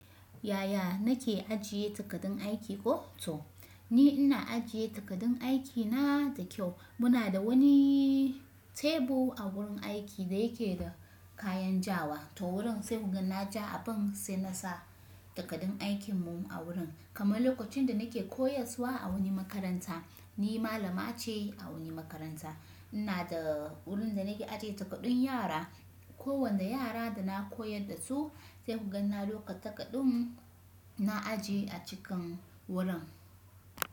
Yaya nake ajiye takardun aiki koh to? Ni ina ajiye takardun aikina da kyau. Muna da wani tebur a wurin aiki da yake da kayan ja wa. To wurin sai goganna ja abin sai nasa takardun aikin mu a wurin. Kamar lokacin da nake koyarswa a wani makaranta, ni malama ce a wani makaranta. Ina da wurin da nake ajiye takardun yara. Ko wanda yara da na koyar da su sai kuga na dauka takardun na ajiye a cikin wurin.